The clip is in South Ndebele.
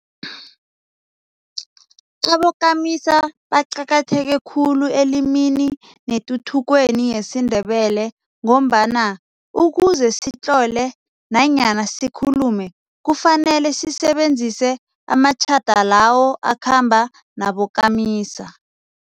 Abokamisa baqakatheke khulu elimi netuthukweni yesiNdebele ngombana ukuze sitlole nanyana sikhulume kufanele sisebenzise amatjhada lawo akhamba nabokamisa.